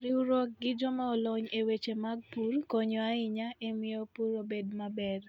Riwruok gi joma olony e weche mag pur konyo ahinya e miyo pur obed maber.